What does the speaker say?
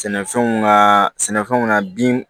Sɛnɛfɛnw kaa sɛnɛfɛnw na bin